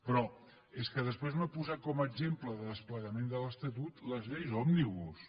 però és que després m’ha posat com a exemple de desple gament de l’estatut les lleis òmnibus